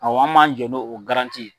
Awɔ anw b'an jɔ n'o garanti ye.